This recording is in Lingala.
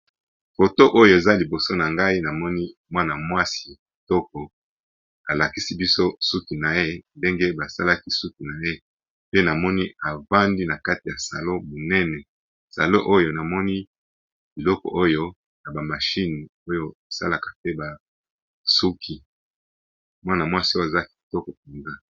Photo oyo balakisi biso mwana mwasi afandi na salon munene azo lakisa biso suki na ye nakati ya salon ba machine minene. mwasi yango kitoko penza.